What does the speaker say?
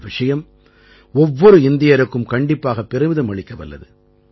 இந்த விஷயம் ஒவ்வொரு இந்தியருக்கும் கண்டிப்பாகப் பெருமிதம் அளிக்கவல்லது